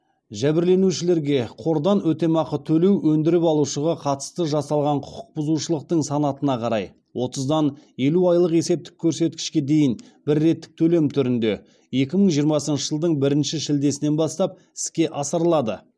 жәбірленушілерге қордан өтемақы төлеу өндіріп алушыға қатысты жасалған құқық бұзушылықтың санатына қарай отыздан елу айлық есептік көрсеткішке дейін бір реттік төлем түрінде екі мың жиырмасыншы жылдың бірінші шілдесінен бастап іске асырылады